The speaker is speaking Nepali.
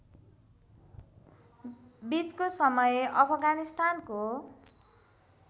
बीचको समय अफगानिस्तानको